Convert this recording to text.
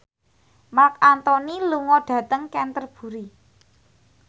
Marc Anthony lunga dhateng Canterbury